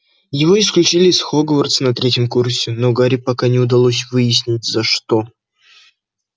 его исключили из хогвартса на третьем курсе но гарри пока не удалось выяснить за что